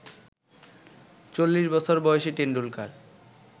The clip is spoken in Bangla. চল্লিশবছর বয়সী টেন্ডুলকার